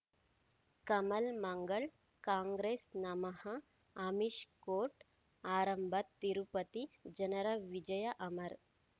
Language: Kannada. ಕಮಲ್ ಮಂಗಳ್ ಕಾಂಗ್ರೆಸ್ ನಮಃ ಅಮಿಷ್ ಕೋರ್ಟ್ ಆರಂಭ ತಿರುಪತಿ ಜನರ ವಿಜಯ ಅಮರ್